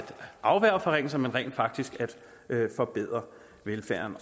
afværge forringelser men rent faktisk til at forbedre velfærden